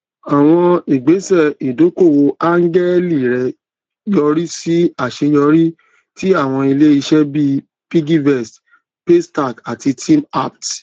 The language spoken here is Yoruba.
àwọn igbèsẹ ìdókòwò áńgẹlì rẹ yọrí sí àṣeyọrí tí àwọn iléiṣẹ bíi piggyvest paystack àti teamapt